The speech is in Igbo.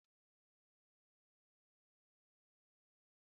Àgwà ebekiri na enye ọṅụ